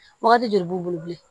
Wagati joli b'u bolo bilen